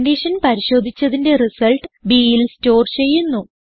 condition പരിശോധിച്ചതിന്റെ result bൽ store ചെയ്യുന്നു